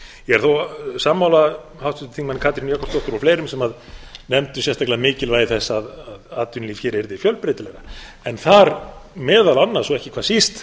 ég er þó sammála háttvirtum þingmanni katrínu jakobsdóttur og fleirum sem nefndu sérstaklega mikilvægi þess að atvinnulíf hér yrði fjölbreytilegra en þar meðal annars og ekki hvað síst